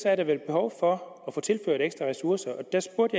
er der vel behov for at få tilført ekstra ressourcer og der spurgte